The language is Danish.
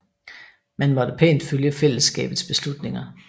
Man måtte pænt følge fællesskabets beslutninger